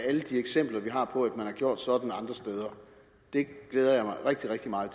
alle de eksempler vi har på at man har gjort sådan andre steder det glæder jeg mig rigtig rigtig meget